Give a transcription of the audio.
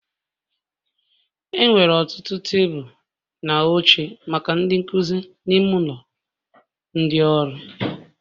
Enwere ọtụtụ tebụl na oche maka ndị nkuzi n'ime ụlọ ndị ọrụ